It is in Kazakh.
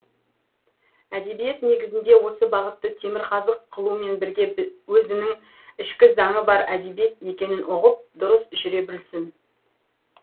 әдебиет негізінде осы бағытты темірқазық қылумен бірге өзінің ішкі заңы бар әдебиет екенін ұғып дұрыс жүре білсін